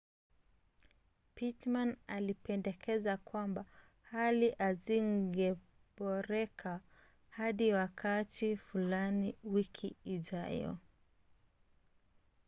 pittman alipendekeza kwamba hali hazingeboreka hadi wakati fulani wiki ijayo